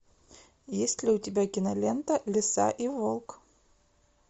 есть ли у тебя кинолента лиса и волк